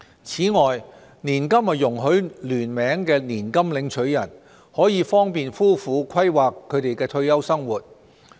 此外，年金容許聯名年金領取人，可方便夫婦規劃他們的退休生活。